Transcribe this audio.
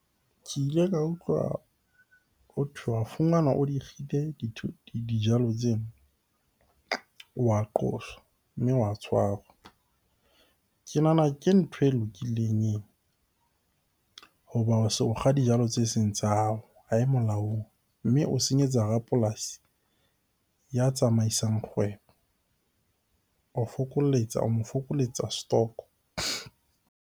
Ke ile ka utlwa hothwe wa fumanwa o di kgile dijalo tseo o wa qoswa, mme wa tshwarwa. Ke nahana ke ntho e lokileng eo ho kga dijalo tse seng tsa hao ha e molaong, mme o senyetsa rapolasi ya tsamaisang kgwebo. O fokoletsa, o mo fokoletsa stock-o.